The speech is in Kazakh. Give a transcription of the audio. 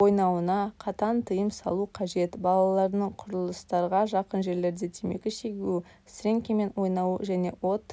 ойнауына қатаң тиым салу қажет балалардың құрылыстарға жақын жерлерде темекі шегуі сіреңкемен ойнауы және от